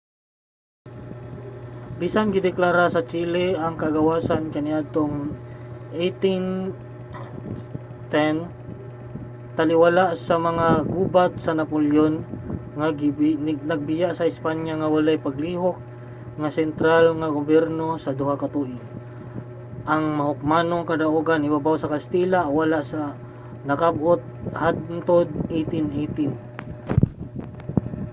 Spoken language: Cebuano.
bisan gideklara sa chile ang kagawasan kaniadtong 1810 taliwala sa mga gubat sa napoleon nga nagbiya sa espanya nga walay nagalihok nga sentral nga gobyerno sa duha ka tuig ang mahukmanong kadaugan ibabaw sa katsila wala nakab-ot hangtod 1818